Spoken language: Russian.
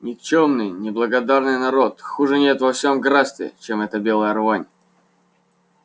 никчёмный неблагодарный народ хуже нет во всем графстве чем эта белая рвань